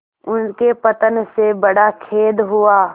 उनके पतन से बड़ा खेद हुआ